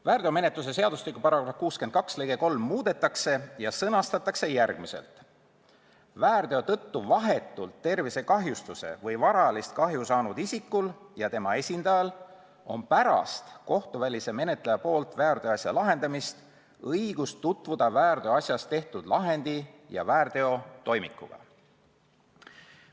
"Väärteomenetluse seadustiku § 62 lõige 3 muudetakse ja sõnastatakse järgmiselt: "Väärteo tõttu vahetult tervisekahjustuse või varalist kahju saanud isikul ja tema esindajal on pärast kohtuvälise menetleja poolt väärteoasja lahendamist õigus tutvuda väärteoasjas tehtud lahendi ja väärteotoimikuga."